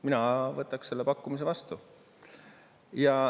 Mina võtaks selle pakkumise vastu.